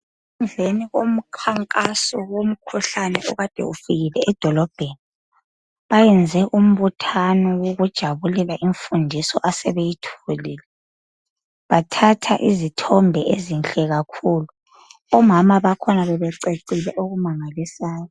Emveni komkhankaso womkhuhlane okade ufikile edolobheni bayenze umbuthano wokujabulela imfundiso asebeyitholile, bathatha izithombe ezinhle kakhulu. Omama bakhona bebececile okumangalisayo.